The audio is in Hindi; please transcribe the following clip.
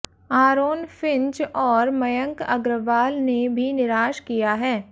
आरोन फिंच और मयंक अग्रवाल ने भी निराश किया है